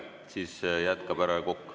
Siis jätkab härra Kokk.